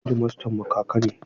Hedimastanmu kaka ne.